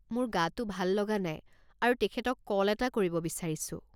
মোৰ গাটো ভাল লগা নাই আৰু তেখেতক কল এটা কৰিব বিচাৰিছো।